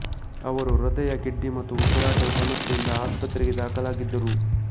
ಅವರು ಹೃದಯ ಕಿಡ್ನಿ ಮತ್ತು ಉಸಿರಾಟದ ಸಮಸ್ಯೆಯಿಂದ ಆಸ್ಪತ್ರೆಗೆ ದಾಖಲಾಗಿದ್ದರು